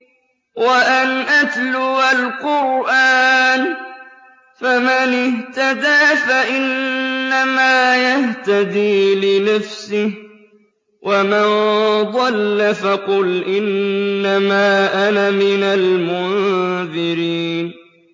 وَأَنْ أَتْلُوَ الْقُرْآنَ ۖ فَمَنِ اهْتَدَىٰ فَإِنَّمَا يَهْتَدِي لِنَفْسِهِ ۖ وَمَن ضَلَّ فَقُلْ إِنَّمَا أَنَا مِنَ الْمُنذِرِينَ